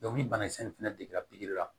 ni banakisɛ in fɛnɛ degela pikiri la